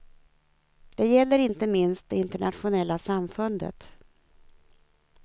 Det gäller inte minst det internationella samfundet.